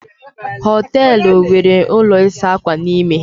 Hóteélụ̀ nwere ụlọ ịsa ákwà n'ime